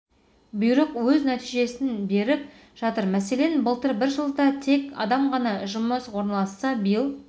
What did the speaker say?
бұйрық өз нәтижесін беріп жатыр мәселен былтыр бір жылда тек адам ғана жұмысқа орналасса биыл